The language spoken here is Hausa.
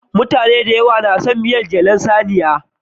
Mutane da yawa na son miyar jelar saniya.